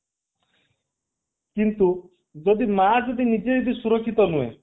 କିନ୍ତୁ ଯଦି ମା ଯଦି ନିଜେ ଯଦି ସୁରକ୍ଷିତ ନୁହେଁ